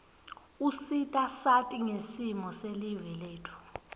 usita sati ngesimo silive letfu